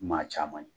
Maa caman ye